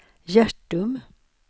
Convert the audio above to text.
Hjärtum